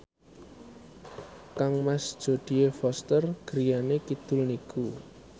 kangmas Jodie Foster griyane kidul niku